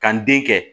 Ka n den kɛ